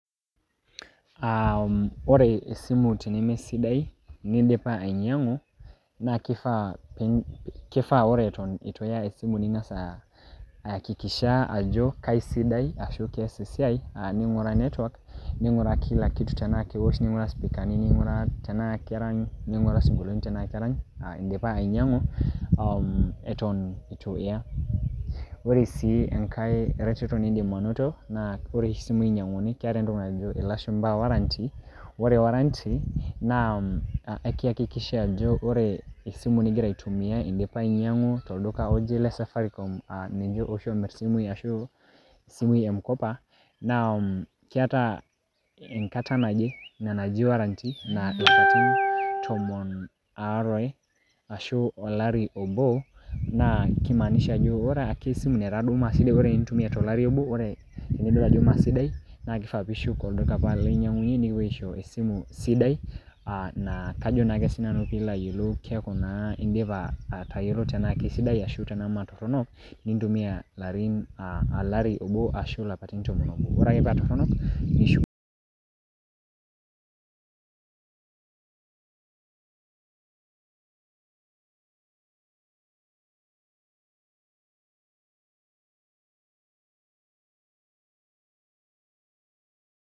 Ah ore esimu tenemesidai nidipa ainyang'u, na kifaa kifaa ore eton ituya esimu ning'asa, aakikisha ajo kaisidai ashu kees esiai, neng'uraa netwak ning'uraa kila kitu tenaa kewosh, ning'uraa sipikani tenaa kerany, ning'uraa sinkolioni tenaa kerany, idipa ainyang'u eton eitu ya. Ore si enkae reteto niidim anoto, na ore oshi simui inyang'uni, keeta entoki najo ilashumpa warranty ,ore warranty na, ekiakikishia ajo ore esimu nigira aitumia idipa ainyang'u tolduka ore le safaricom, ah ninche oshi omir isimui ashu isimui e m-kopa, na keeta enkata naje, ina naji warranty ,na ilapaitin tomon aare, ashu olari obo, na kimaanisha ajo ore ake esimu netaa duo maasidai eton itu intumia tolari obo, nidol ajo maasidai, na kifaa pishuk olduka apa linyang'unye nikipoi aisho esimu sidai, ah kajo nake sinanu pilo ayiolou keeku na idipa atayiolo tenaa kesidae tenaa metorrono, nitumia olari obo ashu ilapaitin tomon obo. Ore ake pa torrono, nishuk.